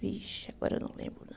Vixe, agora eu não lembro não.